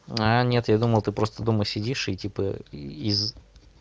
а нет я думал ты просто дома сидишь и типа из